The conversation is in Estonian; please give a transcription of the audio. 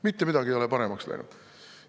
Mitte midagi ei ole paremaks läinud.